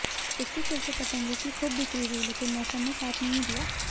इसके चलते पतंगों की खूब बिक्री हुई लेकिन मौसम ने साथ नहीं दिया